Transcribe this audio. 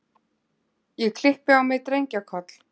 Ég klippi á mig drengjakoll.